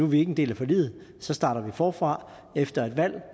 vi ikke en del af forliget så starter vi forfra efter et valg